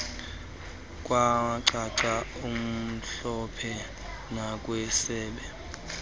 kwacaca mhlophe nakwisebe